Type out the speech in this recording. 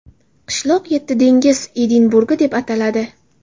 Qishloq yetti dengiz Edinburgi deb ataladi.